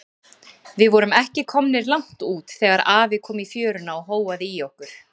Við vorum ekki komnir langt út þegar afi kom í fjöruna og hóaði í okkur.